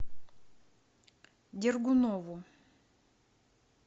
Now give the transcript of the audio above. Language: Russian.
дергунову